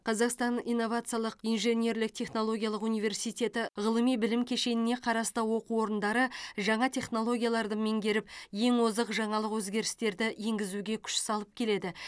қазақстан инновациялық инженерлік технология университеті ғылыми білім кешеніне қарасты оқу орындары жаңа технологияларды меңгеріп ең озық жаңалық өзгерістерді енгізуге күш салып келеді